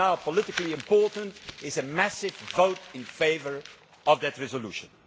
What is now politically important is a massive vote in favour of that resolution.